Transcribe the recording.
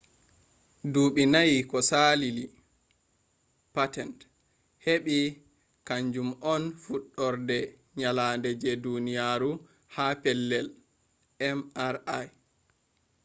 dubi nayi ko salali patent hebi, kangum on fudurde tyelade je duniyaro ha pellel mri